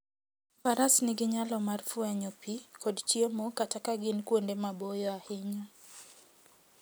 Faras nigi nyalo mar fwenyo pi kod chiemo kata ka gin kuonde maboyo ahinya.